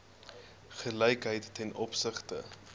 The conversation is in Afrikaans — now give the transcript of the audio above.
gelykheid ten opsigte